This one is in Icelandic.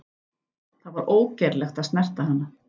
Það var ógerlegt að snerta hana.